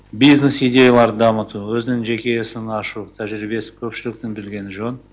бизнес идеяларды дамыту өзінің жеке ісін ашу тәжірибесін көпшіліктің білгені жөн